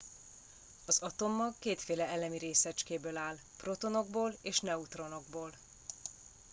az atommag kétféle elemi részecskéből áll protonokból és neutronokból